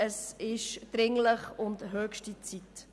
Es ist dringlich und höchste Zeit.